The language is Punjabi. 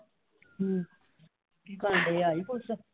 ਹਮ ਕੀ ਕਰਨ ਡੇ ਆਈ ਕੁਛ ਆ।